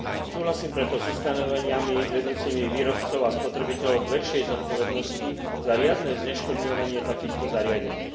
Súhlasím preto s ustanoveniami vedúcimi výrobcov a spotrebiteľov k väčšej zodpovednosti za riadne zneškodňovanie takýchto zariadení.